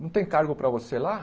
Não tem cargo para você lá?